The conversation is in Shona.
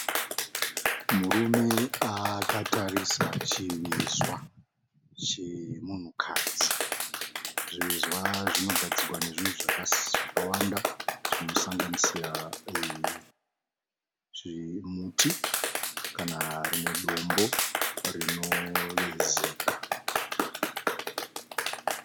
Murume akatarisa chivezwa chemunhukadzi. Zvivezwa zvinogadzirwa nezvinhu zvakawanda zvinosanganisira zvimuti kana rimwe dombo rinovezeka.